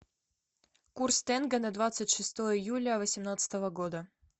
курс тенге на двадцать шестое июля восемнадцатого года